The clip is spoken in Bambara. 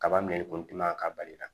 Kaba megun gilan ka bali la